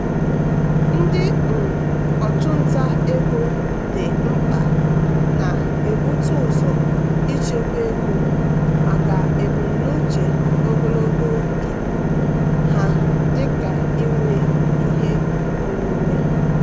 ndị um ọchụnta ego dị mkpa na-ebute ụzọ ichekwa ego maka ebumnuche ogologo oge ha dịka inwe ihe onwunwe.